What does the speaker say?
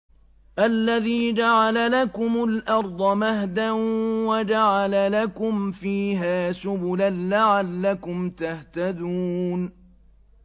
الَّذِي جَعَلَ لَكُمُ الْأَرْضَ مَهْدًا وَجَعَلَ لَكُمْ فِيهَا سُبُلًا لَّعَلَّكُمْ تَهْتَدُونَ